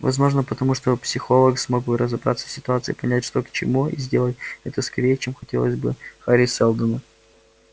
возможно потому что психолог смог бы разобраться в ситуации понять что к чему и сделать это скорее чем хотелось бы хари сэлдону